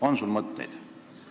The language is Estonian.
On sul mõtteid?